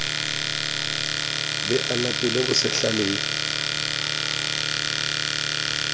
be a latole bosehla le